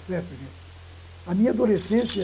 certo gente, a minha adolescência.